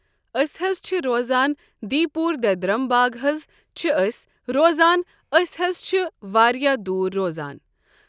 أسۍ حظ چھِ روزان دٕۍ پوٗر دٮ۪درَم باغ حظ چھِ أسۍ روزان أسۍ حظ چھِ واریاہ دوٗر روزان۔